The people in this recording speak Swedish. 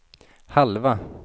halva